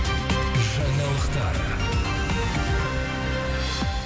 жаңалықтар